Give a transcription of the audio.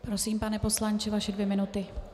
Prosím, pane poslanče, vaše dvě minuty.